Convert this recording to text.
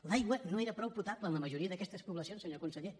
l’aigua no era prou potable en la majoria d’aquestes poblacions senyor conseller